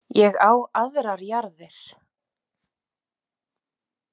Ég á aðrar jarðir.